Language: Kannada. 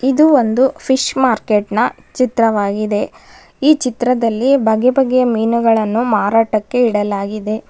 ಇದು ಒಂದು ಫಿಶ್ ಮಾರ್ಕೆಟ್ನ ಚಿತ್ರವಾಗಿದೆ ಈ ಚಿತ್ರದಲ್ಲಿ ಬಗೆ ಬಗೆಯ ಮೀನುಗಳನ್ನು ಮಾರಾಟಕ್ಕೆ ಇಡಲಾಗಿದೆ.